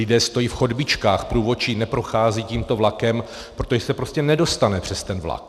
Lidé stojí v chodbičkách, průvodčí neprochází tímto vlakem, protože se prostě nedostane přes ten vlak.